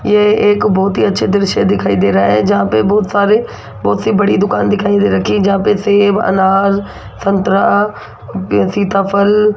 यह एक बहुत ही अच्छे दृश्य दिखाई दे रहा है जहां पे बहुत सारे बहुत सी बड़ी दुकान दिखाई दे रखी है जहां पर सेव अनार संतरा सीताफल --